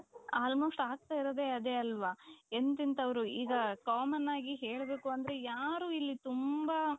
Almost ಆಗ್ತಾ ಇರೋದೇ ಅದೇ ಅಲ್ವಾ ಎಂತೆಂಥವರು ಈಗ common ಆಗಿ ಹೇಳ್ಬೇಕು ಅಂದ್ರೆ ಯಾರು ಇಲ್ಲಿ ತುಂಬಾ